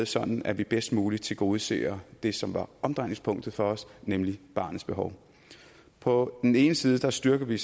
sådan at vi bedst muligt tilgodeser det som var omdrejningspunktet for os nemlig barnets behov på den ene side styrker vi